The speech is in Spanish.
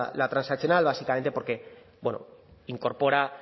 la transaccional básicamente porque bueno incorpora